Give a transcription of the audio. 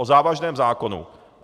O závažném zákonu.